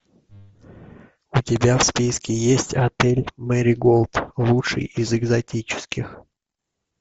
у тебя в списке есть отель мэриголд лучший из экзотических